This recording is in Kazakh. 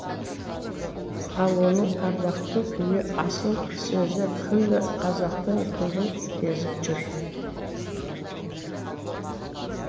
ал оның ардақты күйі асыл сөзі күллі қазақтың көгін кезіп жүр